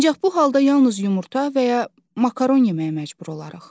Ancaq bu halda yalnız yumurta və ya makaron yeməyə məcbur olarıq.